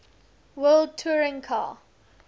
world touring car